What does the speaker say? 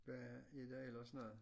Hvad er der ellers noget